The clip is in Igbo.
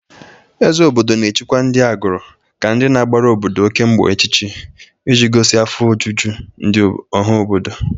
Ezeogo obodo na-echikwa ndị agụrụ ka ndị na-agbara obodo oke mgbọ echichi ị ji gosi afọ ojuju ọha obodo.